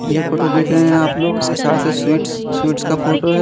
ये जो फोटो देख रहे है आप लोग ये शायद से स्वीट स्वीट्स का फोटो है।